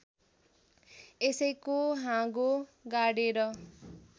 यसैको हाँगो गाडेर